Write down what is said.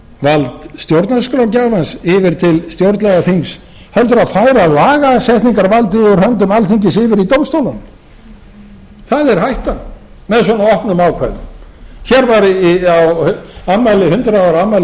vald stjórnarskrárgjafans yfir til stjórnlagaþings heldur og færa lagasetningarvaldið úr höndum alþingis yfir í dómstólana það er hættan með svona opnum ákvæðum hér á hundrað ára afmæli lagakennslu